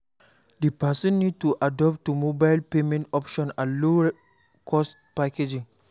Di person need to adapt to mobile payment option and low cost packaging